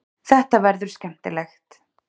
Þetta verður skemmtilegt.